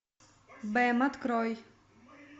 бэм открой